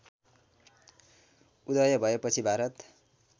उदय भएपछि भारत